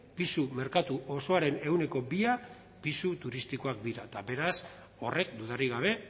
pisu merkatu osoaren ehuneko bia pisu turistikoak dira eta beraz horrek dudarik gabe